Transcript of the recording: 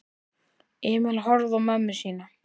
Emil horfði á mömmu sína.